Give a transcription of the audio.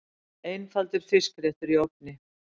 Einfaldur fiskréttur í ofni